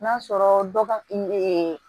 N'a sɔrɔ dɔw ka